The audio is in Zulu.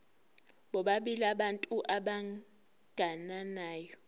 bobabili abantu abagananayo